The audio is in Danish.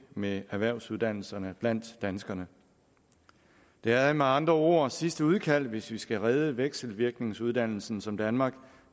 med erhvervsuddannelserne blandt danskerne det er med andre ord sidste udkald hvis vi skal redde vekselvirkningsuddannelsen som danmark